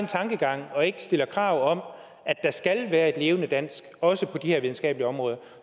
tankegang og ikke stiller krav om at der skal være et levende dansk også på de her videnskabelige områder